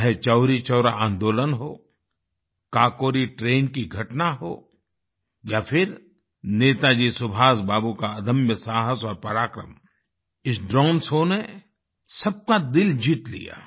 चाहे चौरी चौरा आन्दोलन हो काकोरी ट्रेन की घटना हो या फिर नेताजी सुभाष का अदम्य साहस और पराक्रम इस ड्रोन शो ने सबका दिल जीत लिया